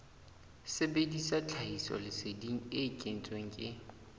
sebedisa tlhahisoleseding e kentsweng ke